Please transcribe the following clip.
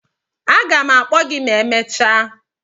a ga m akpo gi ma emechaa.